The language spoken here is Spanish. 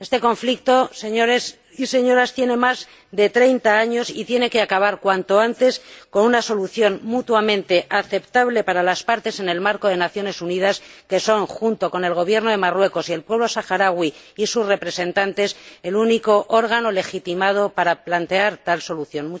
Este conflicto, señores y señoras, tiene más de 30 años y tiene que acabar cuanto antes con una solución mutuamente aceptable para las partes en el marco de las Naciones Unidas, que son, junto con el Gobierno de Marruecos y el pueblo saharaui y sus representantes, el único órgano legitimado para plantear tal solución.